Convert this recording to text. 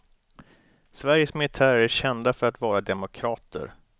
Sveriges militärer är kända för att vara demokrater.